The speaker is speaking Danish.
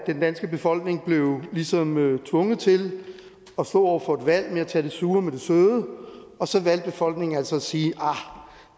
den danske befolkning ligesom tvunget til at stå over for et valg og tage det sure med det søde og så valgte befolkningen altså at sige arh